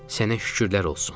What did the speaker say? Sənə şükürlər olsun.